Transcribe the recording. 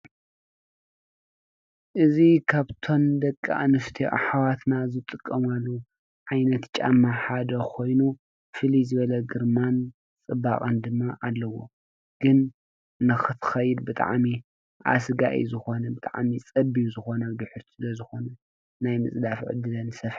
እዚ ካብቶም ደቂ አንስትዮ አሕዋትና ዝጥቀማሉ ዓይነት ጫማ ሓደ ኮይኑ ፍልይ ዝበለ ግርማን ፅባቐን ድማ አለዎ ግን ንኽትከይድ ብጣዕሚ አስጋኢ ዝኾነ ብጣዕሚ ፀቢብ ስለ ዝኾነ ናይ ምፅዳፍ ዕድለን ሰፊሕ እዪ ።